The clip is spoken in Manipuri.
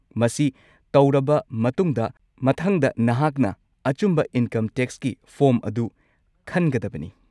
ꯃꯁꯤ ꯇꯧꯔꯕ ꯃꯇꯨꯡꯗ, ꯃꯊꯪꯗ ꯅꯍꯥꯛꯅ ꯑꯆꯨꯝꯕ ꯏꯟꯀꯝ ꯇꯦꯛꯁꯀꯤ ꯐꯣꯔꯝ ꯑꯗꯨ ꯈꯟꯒꯗꯕꯅꯤ꯫